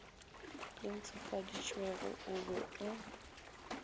le ntshofaditšwego o be o